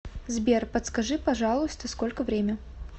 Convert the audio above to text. сбер подскажи пожалуйста сколько время